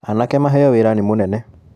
Anake maheo wĩra nĩ mũnene.